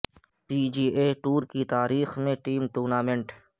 P G A tour کی تاریخ میں ٹیم ٹورنامنٹ